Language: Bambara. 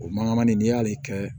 O mankannin n'i y'ale kɛ